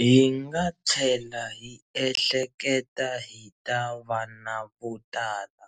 Hi nga tlhela hi ehleketa hi ta vana vo tala,